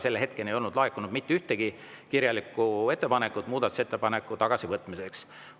Selle hetkeni ei olnud laekunud mitte ühtegi kirjalikku ettepanekut muudatusettepaneku tagasivõtmiseks.